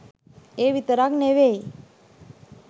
ඒ විතරක් නෙවෙයි